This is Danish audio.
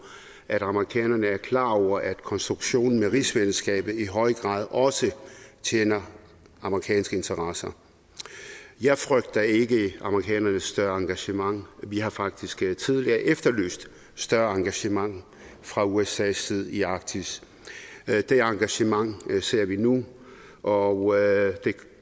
at amerikanerne er klar over at konstruktionen med rigsfællesskabet i høj grad også tjener amerikanske interesser jeg frygter ikke amerikanernes større engagement vi har faktisk tidligere efterlyst større engagement fra usas side i arktis det engagement ser vi nu og det